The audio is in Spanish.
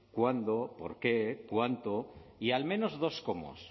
cuándo por qué cuánto y al menos dos cómos